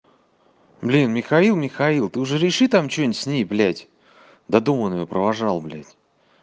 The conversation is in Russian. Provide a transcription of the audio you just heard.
блин михаил михаил ты уже реши там что-нибудь с ней блядь до дома он её провожал блядь